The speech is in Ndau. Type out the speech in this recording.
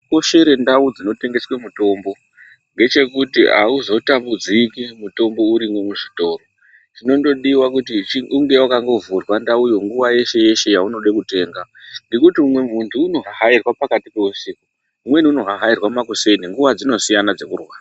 Chinokoshere ndau dzinotengeswe mitombo, ngechekuti hauzotambudziki mutombo urimwo muchitoro. Chinongodiwa ngechekuti unge wakandovhurwa ndauyo, nguva yeshe yaunode kutenga. Ngekuti umwe muntu unohahairwa pakati pehusiku, umweni unohahairwa makuseni, nguva dzinosiyana dzekurwara.